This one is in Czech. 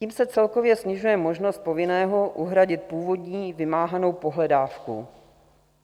Tím se celkově snižuje možnost povinného uhradit původní vymáhanou pohledávku.